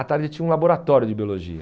À tarde tinha um laboratório de biologia.